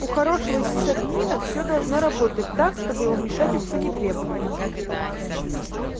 у хорошего сисадмина всё должно работать так чтобы его вмешательство не требовалось